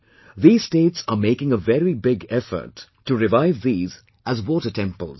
These states are making a very big effort to revive these as 'water temples'